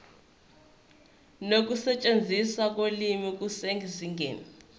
nokusetshenziswa kolimi kusezingeni